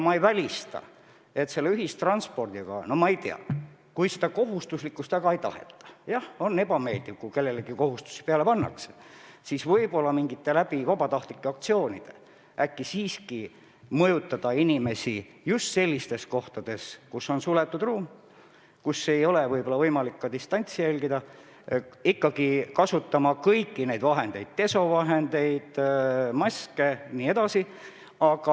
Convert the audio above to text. Mis puutub ühistransporti, siis ega seda maskide kohustuslikkust väga ei taheta – jah, on ebameeldiv, kui kellelegi kohustusi peale pannakse –, aga võib-olla mingite vabatahtlikkusele rõhuvate aktsioonidega saab siiski mõjutada inimesi just suletud ruumides, kus ei ole võimalik distantsi hoida, ikkagi kasutama kõiki neid vahendeid – desovahendeid, maske jne.